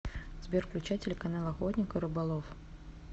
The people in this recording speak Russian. сбер включай телеканал охотник и рыболов